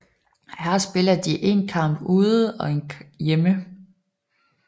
Her spiller de en kamp ude og hjemme